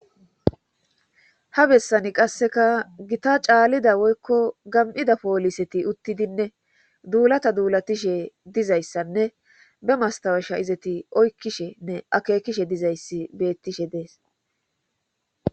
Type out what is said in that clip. ha bessani qasseka gita caalida woykko gam7ida pooliseti uttidinne duulata duulatishe dizayssanne be mastawesha izati oykkishenne akeekishe dizayssi bettishe dees